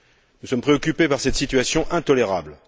Nous sommes préoccupés par cette situation intolérable.